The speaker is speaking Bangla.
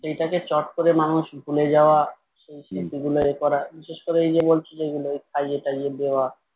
সেটাকে চট করে মানুষ ভুলে যাওয়া সেই স্মৃতিগুলো এ করা বিশেষ করে এই যে বলছি যেগুলো খাইয়ে-টাইয়ে দেওয়া